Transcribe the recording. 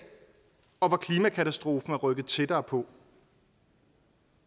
og hvor klimakatastrofen er rykket tættere på